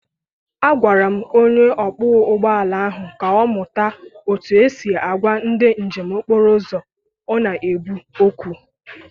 Agwara m onye ọkpọ ụgbọ ala ahụ ka ọ mụta otú e si agwa ndị njem okporouzo ọ n'ebu okwu.